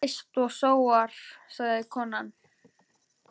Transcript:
Þú eyst og sóar, sagði konan.